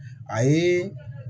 A ye